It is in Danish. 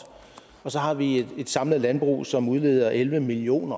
og så har vi et samlet landbrug som udleder elleve million